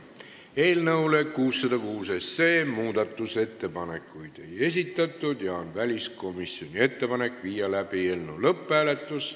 Eelnõu 606 kohta muudatusettepanekuid ei esitatud ja väliskomisjoni ettepanek on viia läbi eelnõu lõpphääletus.